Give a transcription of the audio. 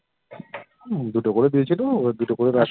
দুটো করে দিয়েছিলো, ওদের দুটো করে